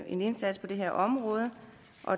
en indsats på det her område